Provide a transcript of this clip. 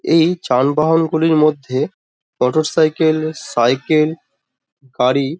এই যানবহন গুলির মধ্যে মোটর সাইকেল সাইকেল গাড়ি ।